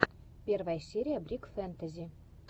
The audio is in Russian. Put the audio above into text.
первая серия брик фэнтази